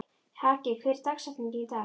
Haki, hver er dagsetningin í dag?